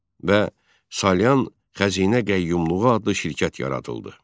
Və Salyan xəzinə qəyyumluğu adlı şirkət yaradıldı.